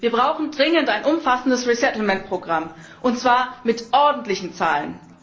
Wir brauchen dringend ein umfassendes Programm, und zwar mit ordentlichen Zahlen!